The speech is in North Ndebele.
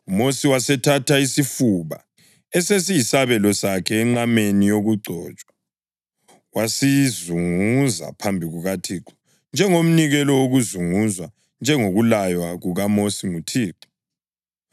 UMosi wasethatha isifuba, esesiyisabelo sakhe enqameni yokugcotshwa, wasizunguza phambi kukaThixo njengomnikelo wokuzunguzwa njengokulaywa kukaMosi nguThixo.